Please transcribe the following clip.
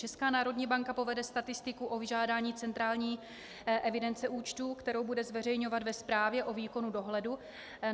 Česká národní banka povede statistiku o vyžádání centrální evidence účtů, kterou bude zveřejňovat ve zprávě o výkonu dohledu.